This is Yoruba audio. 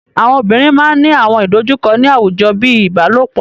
Àwọn obìnrin máa ńi àwọn ìdojúkọ ni àwùjọ bíi ìbálòpọ̀.